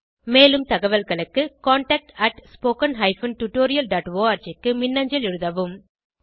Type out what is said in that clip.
மேலும் தகவல்களுக்கு contactspoken tutorialorg க்கு மின்னஞ்சல் எழுதவும்